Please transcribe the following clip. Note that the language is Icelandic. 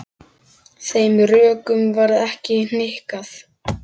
Þeim rökum varð ekki hnikað.